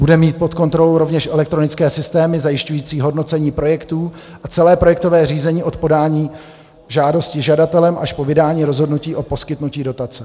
Bude mít pod kontrolou rovněž elektronické systémy zajišťující hodnocení projektů a celé projektové řízení od podání žádosti žadatelem až po vydání rozhodnutí o poskytnutí dotace.